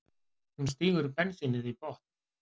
Hún stígur bensínið í botn.